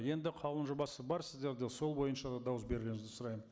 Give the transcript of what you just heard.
енді қаулының жобасы бар сіздерде сол бойынша да дауыс берулеріңізді сұраймын